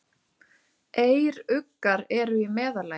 Eyruggar eru í meðallagi.